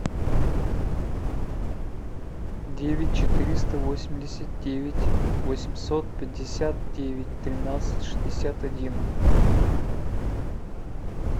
девять четыреста восемьдесят девять восемьсот пятьдесят девять тринадцать шестьдесят один